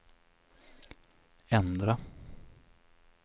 ändra